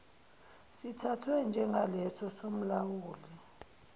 sithathwe njengaleso somlawuli